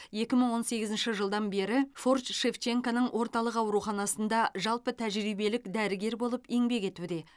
екі мың он сегізінші жылдан бері форт шевченконың орталық ауруханасында жалпы тәжірибелік дәрігер болып еңбек етуде